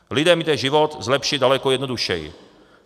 Lidem jde život zlepšit daleko jednodušeji.